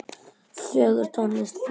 Fögur tónlist flutt.